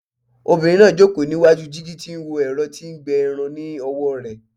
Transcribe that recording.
Obinrin naa joko ni iwaju jigi ti o n wo ẹrọ ti n gbẹ irun ni ọwọ rẹ